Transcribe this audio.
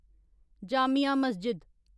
Jamia Masjid